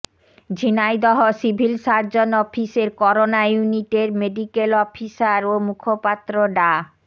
Jhenaidah civil surgeon অফিসের corona ইউনিটের medical officer ও মুখপাত্র ডা